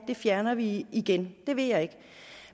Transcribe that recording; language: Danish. det fjerner vi igen det vil jeg ikke